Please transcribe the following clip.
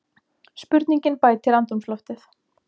Spurningin bætir andrúmsloftið.